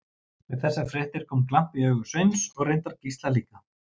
Við þessar fréttir kom glampi í augu Sveins og reyndar Gísla líka.